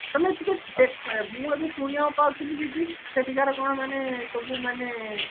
ତମେ ଟିକେ ଦେଖ ମୁଁ ଏବେ ଶୁଣିବାକୁ ପାଉଥିଲି ଯେ କି ସେଠିକାର କଣ ମାନେ ସବୁ ମାନେ